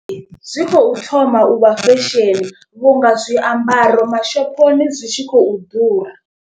Zwi khou thoma uvha fesheni vhu nga zwiambaro mashoponi zwi tshi khou ḓura.